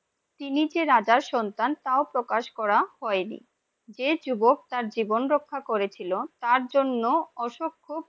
তিনি যে রাজার সন্তান তাও প্রকাশ করা হয়নি, যে যুবক তার জীবন রক্ষা করেছিল তার জন্য অশোক খুব